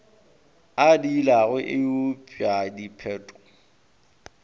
a diilago e huetša diphetho